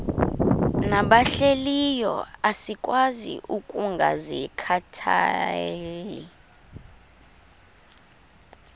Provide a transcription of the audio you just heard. nabahlehliyo asikwazi ukungazikhathaieli